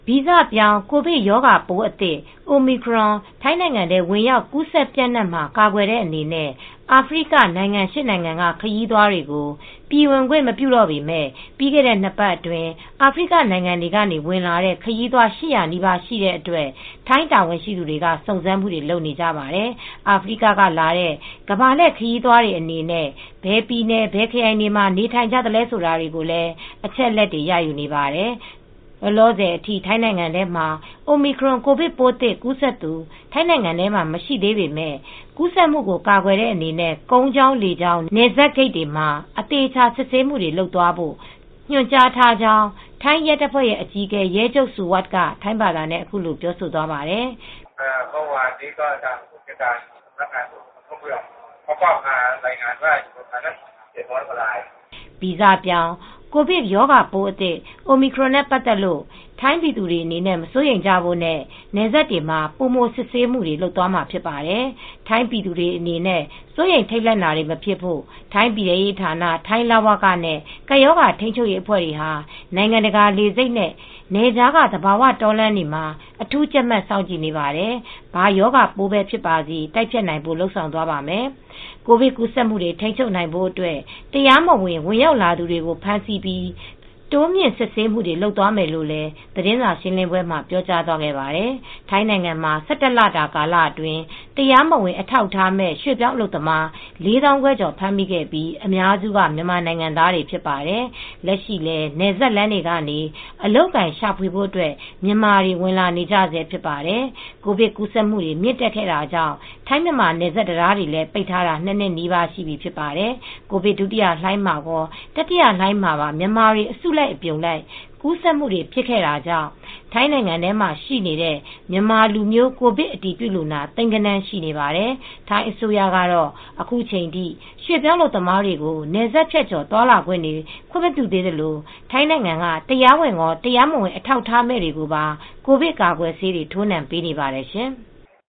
ဗီဇပြောင်းကိုဗစ်ရောဂါပိုးအသစ် Omicron ထိုင်းနိုင်ငံထဲဝင်ရောက် ကူးစက်ပျံ့နှံ့မှာ ကာကွယ်တဲ့အနေနဲ့ အာဖရိက နိုင်ငံ ၈ နိုင်ငံက ခရီးသွားတွေကို ပြည်ဝင်ခွင်မပြုတော့ပေမယ့် ပြီးခဲ့တဲ့ ၂ ပတ်အတွင်းအာဖရိက နိုင်ငံတွေကနေဝင်လာတဲ့ ခရီးသွား ၈၀၀နီးပါးရှိခဲ့တဲ့အတွက် ထိုင်းတာဝန်ရှိသူတွေ စုံစမ်းမှုတွေ လုပ်နေကြပါတယ်။ အာဖရိကက လာတဲ့ ကမ္ဘာလှည်ခရီးသွားတွေအနေနဲ့ ဘယ်ပြည်နယ် ဘယ်ခရိုင်တွေမှာနေထိုင်နေကြသလဲဆိုတာတွေကိုလည်း အချက်အလက်တွေ ရယူနေပါတယ်။ လောလောဆယ်အထိ ထိုင်းနိုင်ငံထဲမှာ Omicron ကိုဗစ်ပိုးသစ် ကူးစက်သူ ထိုင်းနိုင်ငံထဲမှာ မရှိသေးပေမဲ့ ကူးစက်မှု ကာကွယ်တဲ့အနေနဲ့ ကုန်းကြောင်း လေကြောင်း နယ်စပ်ဂိတ်တွေမှာ အသေအချာ စစ်ဆေးမှုတွေလုပ်သွားဖို့ ညွှန်ကြားထားကြောင်း ထိုင်းရဲတပ်ဖွဲ့အကြီးအကဲ ရဲချုပ် Suwat Chaengyodsuk က ထိုင်းဘာသာနဲ့ အခုလို ပြောကြားခဲ့ပါတယ်။ "ဗီဇပြောင်းကိုဗစ်ရောဂါပိုးအသစ် Omicron နဲ့ ပတ်သက်လို့ ထိုင်းပြည်သူတွေကိုမစိုရိမ်ကြဖို့နဲ့ နယ်စပ်တွေမှ ာပိုမိုစစ်ဆေးမှုူတွေပြုလုပ်သွားမှာ ဖြစ်ပါတယ်။ ထိုင်းပြည်သူတွေအနေနဲ့စိုးရိမ်ထိပ်လန့်တွေတွေမဖြစ်ဖို့ ထိုင်းပြည်တဲရေးဌာန ထိုင်းလဝကနဲ့ ကပ်ရောဂါထိမ်းချုပ်ရေးအဖွဲ့ တွေဟာ နိုင်ငံတကာလေဆိပ်နဲ့ နယ်ခြားက သဘာဝတောလမ်းတွေမှာ အထူးကြပ်မတ်စောင့်ကြည့်နေပါတယ် ။ ဘာရောဂါပိုးပဲဖြစ်ပါစေ တိုက်ဖျက်နိုင်ဖို့လုပ်ဆောင်သွားပါမယ်" ကိုဗစ်ကူးဆက်မူတွေ ထိမ်းချုပ်နိုင်ဖို့အတွက် တရားမဝင် ဝင်ရောက်လာတာ သူတွေကို ဖမ်းဆီးပြီး တိုးမြှင့် စစ်ဆေးမှုတွေ လုပ်သွားမယ်လို့လည်း သတင်းစာရှင်းပွဲမှာ ပြောသွားပါတယ်။ ထိုင်းနိုင်ငံထဲမှာ ၁၁ လတာ ကာလအတွင်း တရားမဝင်အထာက်အထားမဲ့ ရွှေပြောင်းအလုပ်သမား ၄ သောင်းခွဲကျော် ဖမ်းမိခဲ့ပြီး အများစုက မြန်မာနိုင်ငံသားတွေဖြစ်ပါတယ်။ လက်ရှိလဲ နယ်စပ်လမ်းတွေကနေ အလုပ်အကိုင်ရှာဖွေဖို့အတွက်မြန်မာတွေဝင်လာနေကြဆဲဖြစ်ပါတယ်။ ကိုဗစ်ကူးစက်မူ့နှုံးမြင့်တက်ခဲ့တာကြောင့် ထိုင်းမြန်မာနယ်စပ်တံတားတွေ ပိတ်ထားတာလည်း ၂ နှစ်နီးပါးရှိပြီဖြစ်ပါတယ်။ ကိုဗစ်ဒုတိယလှိုင်းမှာကော တတိယလှိုင်းမှာပါ မြန်မာတွေအစုလိုက်အပြုံလိုက်ကူးစက်မူတွေဖြစ်ခဲ့တာကြောင့် ထိုင်းနိုင်ငံထဲမှာရှိနေတဲ့ မြန်မာလူမျိုး ကိုဗစ် အတည်ပြုလူနာ သိန်းဂဏန်း ရှိပါတယ်။ ထိုင်းအစိုးရတော့ အခုချိန်ထိရွှေပြောင်းအလုပ်သမားတွေကို နယ်စပ်ဖြတ်ကျော်သွားလာခွင့်တွေ ခွင့်မပြုသေးသလို ထိုင်းနိုင်ငံထဲက တရားဝင်ကော တရားမဝင်အထောက်အထားမဲ့တွေကိုပါ ကိုဗစ်ကာကွယ်ဆေးတွေ ထိုးနှံပေးနေပါတယ်ရှင်။